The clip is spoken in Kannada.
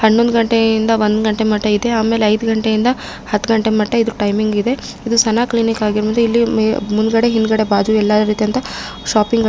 ಹನ್ನೊಂದು ಗಂಟೆ ಇಂದ ಒಂದು ಗಂಟೆ ಮಟ ಆಮೇಲೆ ಐದು ಗಂಟೆ ಇಂತ್ರ ಹತ್ತು ಗಂಟೆ ಮಟ ಇದು ಟೈಮಿಂಗ್ ಇದೆ ಇದು ಸನ ಕ್ಲಿನಿಕ್ ಆಗಿರೋದ್ರಿಂದ ಇಲ್ಲಿ ಮುಂದಗದಡೆ ಹಿಂದಗಡೆ ಬಾಜು ಎಲ್ಲ ರಿತಿಯದಂತ ಶಾಪಿಂಗ್ --